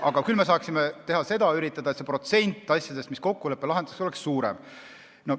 Aga küll me saaksime üritada seda, et nende asjade protsent, mis kokkuleppel lahendatakse, oleks suurem.